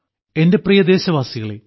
എന്റെ പ്രിയദേശവാസികളേ